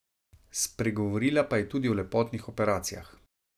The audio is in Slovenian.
Spregovorila pa je tudi o lepotnih operacijah.